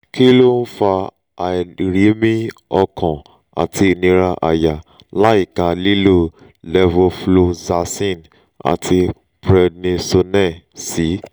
kí ló ń fa àìrími-ọkàn àti ìnira àyà láìka lílo levofloxacin àti prednisone sí?